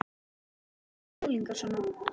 Það eru nánast allir unglingar svona.